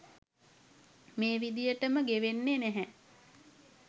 මේ විදියට ම ගෙවෙන්නේ නැහැ.